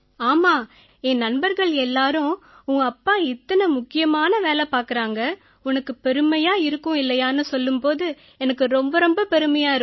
ஆமா என் நண்பர்கள் எல்லாரும் உன் அப்பா இத்தனை முக்கியமான வேலை பார்க்கறாங்க உனக்கு பெருமையா இருக்கும் இல்லையான்னு சொல்லும் போது எனக்கு ரொம்ப ரொம்ப பெருமையா இருக்கும்